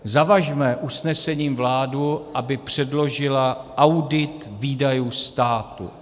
Zavažme usnesením vládu, aby předložila audit výdajů státu.